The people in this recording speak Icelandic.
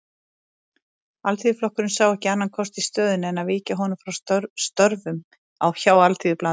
Alþýðuflokkurinn sá ekki annan kost í stöðunni en að víkja honum frá störfum hjá Alþýðublaðinu.